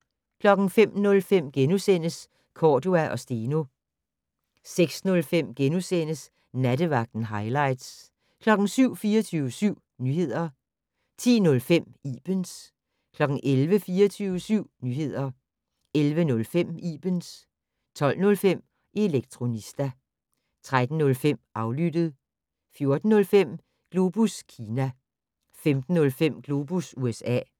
05:05: Cordua & Steno * 06:05: Nattevagten - hightlights * 07:00: 24syv Nyheder 10:05: Ibens 11:00: 24syv Nyheder 11:05: Ibens 12:05: Elektronista 13:05: Aflyttet 14:05: Globus Kina 15:05: Globus USA